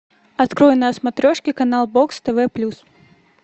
открой на смотрешке канал бокс тв плюс